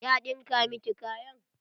Ya ɗinka miki kayan?